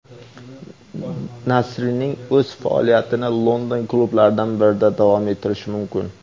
Nasrining o‘zi faoliyatini London klublaridan birida davom ettirishi mumkin.